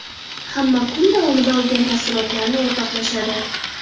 Hamma kun davomida olgan taassurotlarini o‘rtoqlashadi.